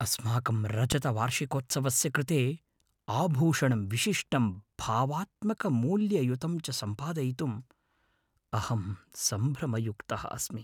अस्माकं रजतवार्षिकोत्सवस्य कृते आभूषणं विशिष्टं भावात्मकमूल्ययुतं च संपादयितुं अहं संभ्रमयुक्तः अस्मि।